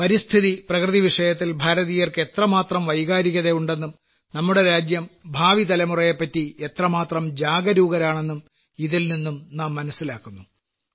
പരിസ്ഥിതി പ്രകൃതി വിഷയത്തിൽ ഭാരതീയർക്ക് എത്രമാത്രം വൈകാരികതയുണ്ടെന്നും നമ്മുടെ രാജ്യം ഭാവിതലമുറയെപ്പറ്റി എത്രമാത്രം ജാഗരൂകരാണെന്നും ഇതിൽനിന്നും നാം മനസ്സിലാക്കുന്നു